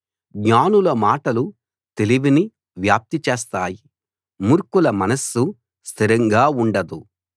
జ్ఞానుల మాటలు తెలివిని వ్యాప్తి చేస్తాయి మూర్ఖుల మనస్సు స్థిరంగా ఉండదు